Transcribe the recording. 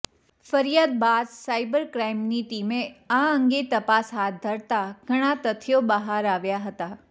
ફરિયાદ બાદ સાયબર ક્રાઇમની ટીમે આ અંગે તપાસ હાથ ધરતા ઘણાં તથ્યો બહાર આવ્યાં હતાં